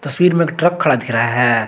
तस्वीर में एक ट्रक खड़ा दिख रहा है।